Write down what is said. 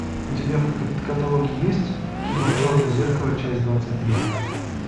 у тебя в каталоге есть кино черное зеркало часть двадцать три